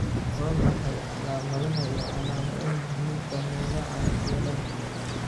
Waa maxay calaamadaha iyo calaamadaha xanuunka Myelocerebellar?